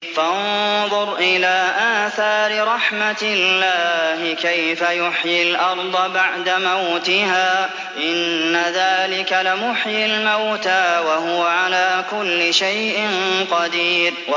فَانظُرْ إِلَىٰ آثَارِ رَحْمَتِ اللَّهِ كَيْفَ يُحْيِي الْأَرْضَ بَعْدَ مَوْتِهَا ۚ إِنَّ ذَٰلِكَ لَمُحْيِي الْمَوْتَىٰ ۖ وَهُوَ عَلَىٰ كُلِّ شَيْءٍ قَدِيرٌ